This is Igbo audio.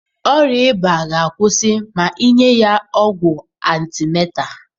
Ọrịa ịba ga akwusi ma ịnye ya ọgwụ arthemether